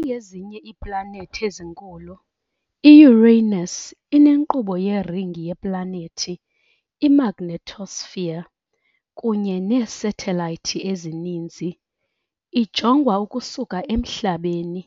Njengezinye iiplanethi ezinkulu, i-Uranus inenkqubo yeringi yeplanethi, i- magnetosphere, kunye neesathelayithi ezininzi, ijongwa ukusuka eMhlabeni,